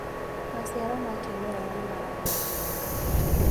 Maciaro ma kĩmerera nimaragĩa ngumo.